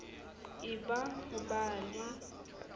e be ho ba le